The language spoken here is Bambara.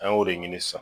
An y'o de ɲini sisan